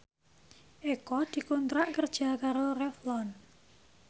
Eko dikontrak kerja karo Revlon